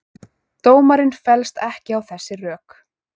Dómarinn fellst ekki á þessi rök